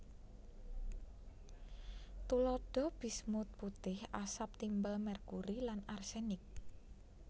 Tuladha bismut putih asap timbal merkuri lan arsenik